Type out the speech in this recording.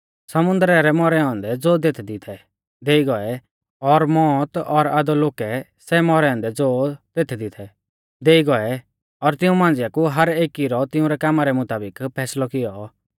समुन्दरै सै मौरै औन्दै ज़ो तेथदी थै देई गौऐ और मौत और अधोलोकै सै मौरै औन्दै ज़ो तेथदी थै देई गौऐ और तिऊं मांझ़िआ कु हर एकी रौ तिंउरै कामा रै मुताबिक फैसलौ कियौ